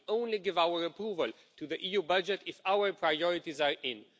We will only give our approval to the EU budget if our priorities are in.